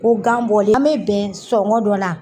Ko gan bɔlen an be bɛn sɔngɔ dɔ la.